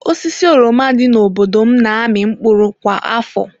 Osisi oroma dị n'obodo m na-amị mkpụrụ kwa afọ.